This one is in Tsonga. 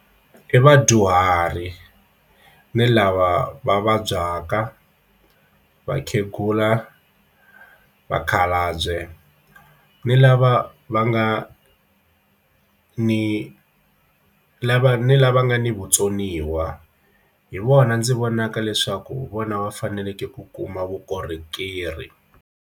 I vadyuhari ni lava va vabyaka vakhegula na vakhalabye ni lava va nga a ni lava ni lava nga ni vutsoniwa hi vona ndzi vonaka leswaku vona va faneleke ku kuma vukorhokeri.